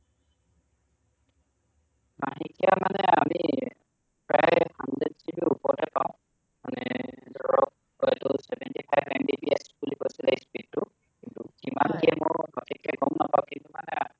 মহিকিয়া মানে আমি প্ৰয়াই hundred GB ৰ ওপৰতে পাওঁ মানে ধৰক হয়টো seventy five MBBPS বুলি কৈছিলে speed টো কিন্তু যিমান খিনি মোৰ সঠিক কে গম নাপাওঁ কিন্তু মানে